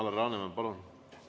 Alar Laneman, palun!